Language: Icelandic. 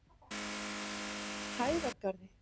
Hæðargarði